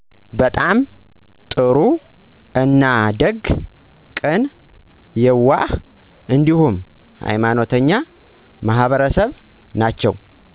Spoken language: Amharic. በጣም ጥሩ አና ደግ፤ ቅን፤ የዋህ እንዲሁም ሃይማኖተኛ ማህበረሰብ ናቸው